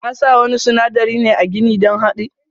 Kasa wani sunadari ne a gini don hadi.